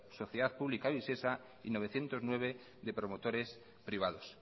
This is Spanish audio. sociedad pública visesa y novecientos nueve de promotores privados